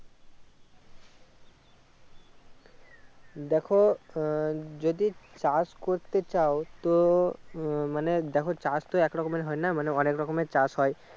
দেখো আহ যদি চাষ করতে চাও তো আহ মানে দেখো চাষ তো এক রকমের হয় না মানে অনেক রকম এর চাষ হয়